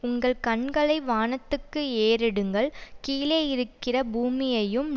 உங்கள் கண்களை வானத்துக்கு ஏறெடுங்கள் கீழே இருக்கிற பூமியையும்